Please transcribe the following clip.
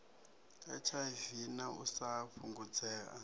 hiv na u sa fhungudzea